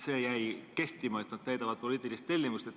See jäi kehtima, et nad täidavad poliitilist tellimust.